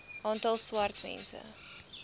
aantal swart mense